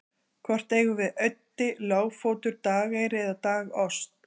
hvort eigum við auddi lágfótur dageyri eða dagost